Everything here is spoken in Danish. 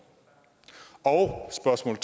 og spørgsmål